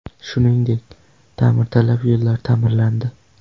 Shuningdek, ta’mirtalab yo‘llar ta’mirlandi.